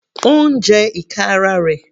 Ó ń jẹ ìka ara rẹ̀.